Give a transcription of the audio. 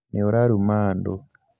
nĩũraruma andũ